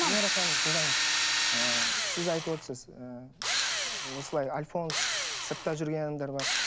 венера ханым тыңдаңыз ы сіз айтып отырсыз ы осылай альфонс сыртта жүрген адамдар бар